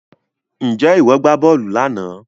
Ǹjẹ́ ìwọ gbá bọ́ọ̀lù lánàá